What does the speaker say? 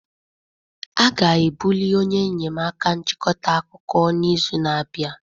A ga-ebuli onye enyemaka nchịkọta akụkọ n'izu na-abịa